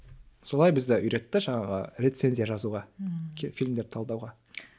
солай бізді үйретті жаңағы рецензия жазуға фильмдерді талдауға